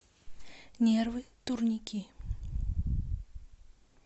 нервы турники